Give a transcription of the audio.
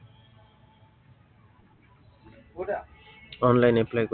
online apply কৰি